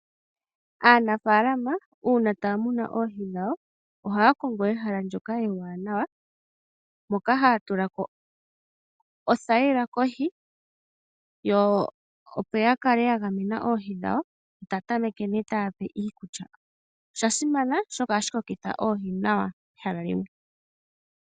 Aanafaalama uuna taya munu oohi dhawo ohaya kongo ehala ndyoka ewanawa, moka haya tula ko othayila kohi, opo ya kale ya gamena oohi dhawo. Ta tameke nduno te dhi pe iikulya, osha simana, oshoka ohashi kokitha oohi nawa pehala limwe.